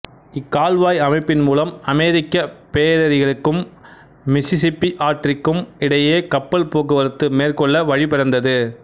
இக்கால்வாய் அமைப்பின் மூலம் அமெரிக்கப் பேரேரிகளுக்கும் மிசிசிப்பி ஆற்றிக்கும் இடையே கப்பல் போக்குவரத்து மேற்கொள்ள வழி பிறந்தது